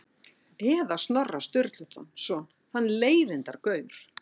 Eða Snorra Sturluson, þann leiðindagaur?